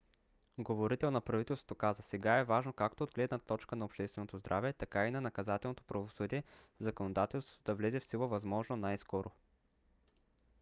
"говорител на правителството каза: сега е важно както от гледна точка на общественото здраве така и на наказателното правосъдие законодателството да влезе в сила възможно най-скоро